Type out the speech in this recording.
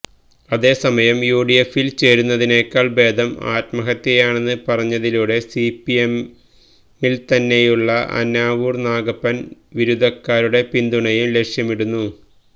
അതേസയമം യുഡിഎഫില് ചേരുന്നതിനെക്കാള് ഭേദം ആത്മഹത്യയാണെന്ന് പറഞ്ഞതിലൂടെ സിപിഎമ്മില്ത്തന്നെയുള്ള ആനാവൂര് നാഗപ്പന് വിരുദ്ധക്കാരുടെ പിന്തുണയും ലക്ഷ്യമിടുന്നു